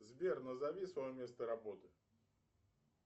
сбер назови свое место работы